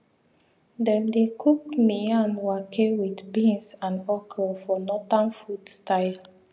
dem dey cook miyan wake wit beans and okro for northern food style